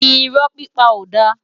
Irò pipá ó dá